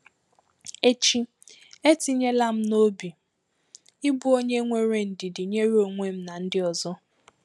Echi, etinyela m n’obi ịbụ onye nwere ndidi nyere onwe m na ndị ọzọ.